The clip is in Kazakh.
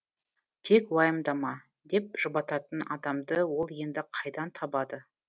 тек уайымдама деп жұбататын адамды ол енді қайдан табады